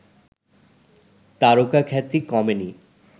তারকাখ্যাতি কমেনি